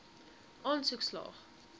aansoek slaag